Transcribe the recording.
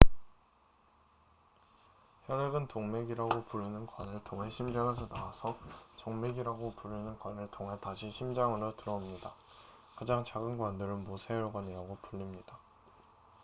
혈액은 동맥이라고 부르는 관을 통해 심장에서 나와서 정맥이라고 부르는 관을 통해 다시 심장으로 돌아옵니다 가장 작은 관들은 모세혈관이라고 불립니다